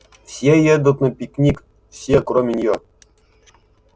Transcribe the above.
все едут на пикник все кроме нее